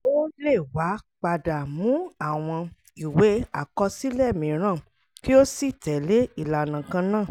ó lè wá padà mú àwọn ìwé àkọsílẹ̀ mìíràn kí ó sì tẹ́lẹ̀ ìlànà kan náà.